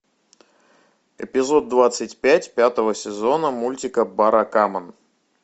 эпизод двадцать пять пятого сезона мультика баракамон